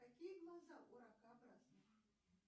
какие глаза у ракообразных